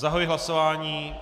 Zahajuji hlasování.